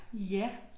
Ja